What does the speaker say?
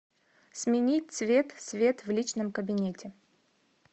сменить цвет свет в личном кабинете